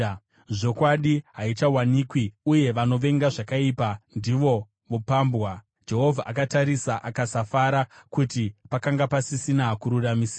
Zvokwadi haichawanikwi uye vanovenga zvakaipa ndivo vopambwa. Jehovha akatarisa akasafara kuti pakanga pasisina kururamisira.